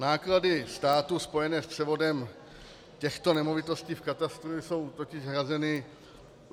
Náklady státu spojené s převodem těchto nemovitostí v katastru jsou totiž hrazeny -